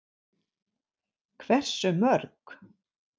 Hversu mörg?